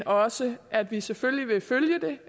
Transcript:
også at vi selvfølgelig vil følge det